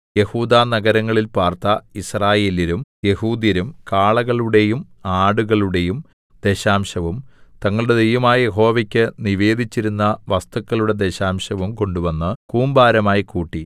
യെഹൂദാ നഗരങ്ങളിൽ പാർത്ത യിസ്രായേല്യരും യെഹൂദ്യരും കാളകളുടെയും ആടുകളുടെയും ദശാംശവും തങ്ങളുടെ ദൈവമായ യഹോവയ്ക്ക് നിവേദിച്ചിരുന്ന വസ്തുക്കളുടെ ദശാംശവും കൊണ്ടുവന്ന് കൂമ്പാരമായി കൂട്ടി